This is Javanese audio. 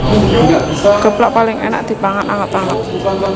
Geplak paling énak dipangan anget anget